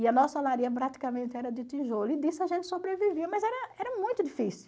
E a nossa olaria praticamente era de tijolo, e disso a gente sobrevivia, mas era era muito difícil.